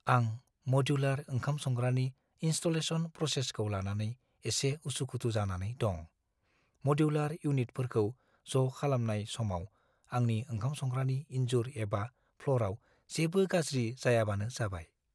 आं मडुलार ओंखाम संग्रानि इनस्टलेशन प्रसेसखौ लानानै एसे उसुखुथु जानानै दं। मडुलार इउनिटफोरखौ ज' खालामनाय समाव आंनि ओंखाम संग्रानि इनजुर एबा फ्ल'रआव जेबो गाज्रि जायाबानो जाबाय।